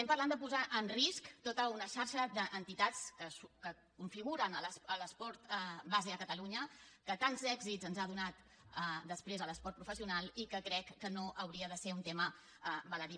parlem de posar en risc tota una xarxa d’entitats que configuren l’esport base a catalunya que tants èxits ens ha donat després a l’esport professional i que crec que no hauria de ser un tema baladí